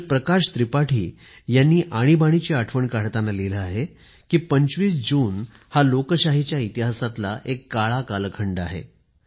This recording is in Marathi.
श्रीयुत प्रकाश त्रिपाठी यांनी आणीबाणीची आठवण काढताना लिहिलं आहे कि २५ जून हा लोकशाहीच्या इतिहासातला एक काळा कालखंड आहे